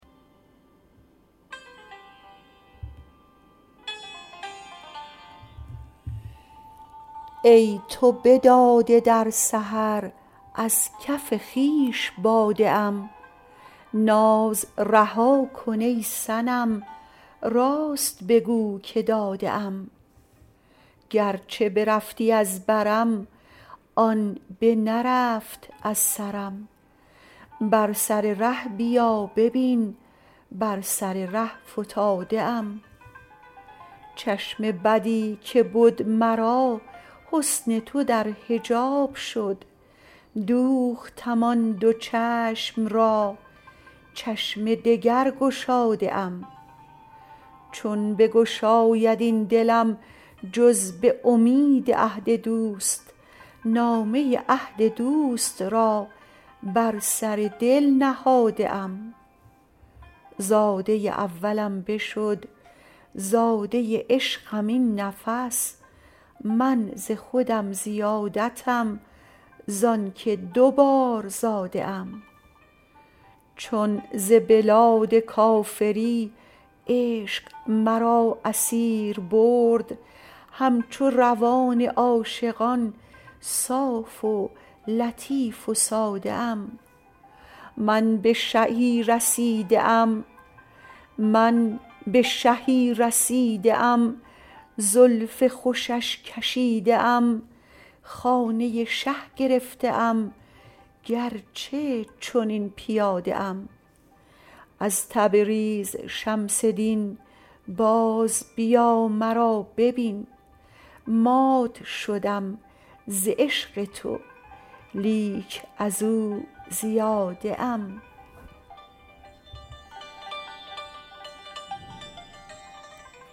ای تو بداده در سحر از کف خویش باده ام ناز رها کن ای صنم راست بگو که داده ام گرچه برفتی از برم آن بنرفت از سرم بر سر ره بیا ببین بر سر ره فتاده ام چشم بدی که بد مرا حسن تو در حجاب شد دوختم آن دو چشم را چشم دگر گشاده ام چون بگشاید این دلم جز به امید عهد دوست نامه عهد دوست را بر سر دل نهاده ام زاده اولم بشد زاده عشقم این نفس من ز خودم زیادتم زانک دو بار زاده ام چون ز بلاد کافری عشق مرا اسیر برد همچو روان عاشقان صاف و لطیف و ساده ام من به شهی رسیده ام زلف خوشش کشیده ام خانه شه گرفته ام گرچه چنین پیاده ام از تبریز شمس دین بازبیا مرا ببین مات شدم ز عشق تو لیک از او زیاده ام